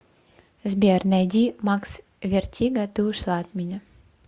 сбер найди макс вертиго ты ушла от меня